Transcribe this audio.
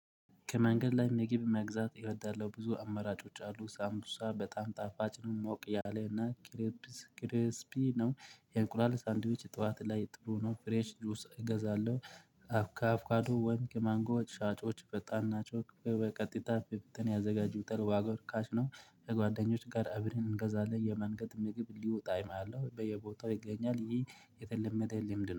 ከመንገድ ላይ ምግብ መግዛት እወዳለሁ። ብዙ አመራጮች አሉ። ሳምቡሳ በጣም ጣፋጭ ነው። ሞቅ ያለና ክርብስ ክርስቢ ነው። የእንቁላል ሳንዲዎች ጠዋት ላይ ጥሩ ነው። ፍሬሽ ጁስ እገዛለሁ። ከአቦካዶ ወይም ከማንጎ ሻጮች ፈጣን ናቸው። በቀጥታ በብተና ያዘጋጁታል። ዋጋው እርካሽ ነው። በጓደኞች ጋር እብረን እንገዛለን። የመንገድ ምግብ ልዩ ጣዕም አለው። በየቦታው ይገኛል። ይሄ የተለመደ ልምድ ነው።